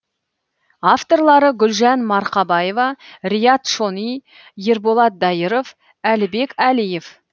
авторлары гүлжан марқабаева риат шони ерболат дайыров әлібек әлиев